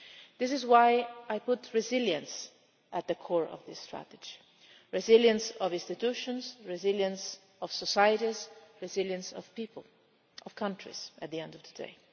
This is why I put resilience at the core of this strategy the resilience of institutions, the resilience of societies, the resilience of people and the resilience of countries at the end of today.